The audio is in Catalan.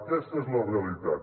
aquesta és la realitat